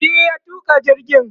shi ya tuka jirgin